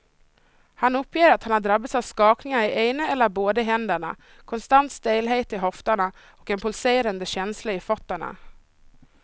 Han uppger att han drabbas av skakningar i ena eller båda händerna, konstant stelhet i höfterna och en pulserande känsla i fötterna.